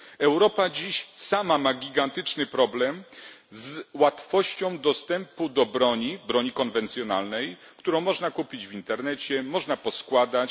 Europa dziś sama ma gigantyczny problem z łatwością dostępu do broni konwencjonalnej, którą można kupić w internecie, którą można poskładać.